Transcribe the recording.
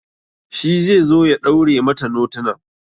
Shi ze zo ya ɗaure mata notunan